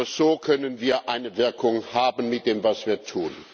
Nur so können wir eine Wirkung haben mit dem, was wir tun.